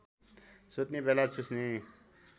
सुत्ने बेला चुस्ने